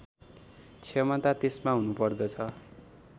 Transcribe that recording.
क्षमता त्यसमा हुनुपर्दछ